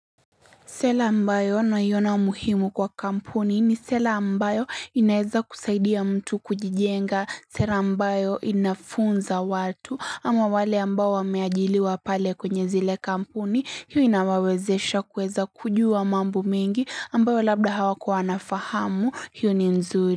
Sela ambayo naiona umuhimu kwa kampuni ni sela ambayo inaeza kusaidia mtu kujijenga, sera ambayo inafunza watu, ama wale ambao wameajiliwa pale kwenye zile kampuni, hii inawawezesha kuweza kujua mambo mengi, ambayo labda hawakuwa wanafahamu, hio ni nzur.